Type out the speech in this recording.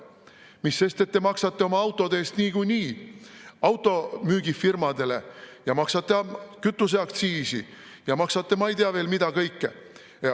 Mis sest, et te maksate oma autode eest niikuinii automüügifirmadele – maksate kütuseaktsiisi ja maksate ma ei tea veel mida kõike.